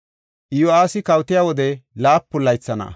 Iyo7aasi kawotiya wode laapun laytha na7a.